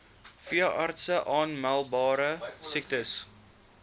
veeartse aanmeldbare siektes